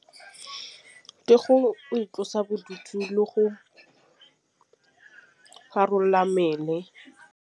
Ke go itlosa bodutu le go rarolla mmele.